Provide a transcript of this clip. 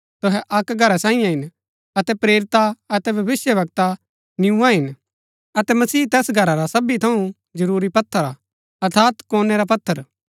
तुहै अक्क घरा सांईये हिन अतै प्रेरिता अतै भविष्‍यवक्ता नियूआं हिन अतै मसीह तैस घरा रा सबी थऊँ जरूरी पत्थर हा अर्थात कोणै रा पत्थर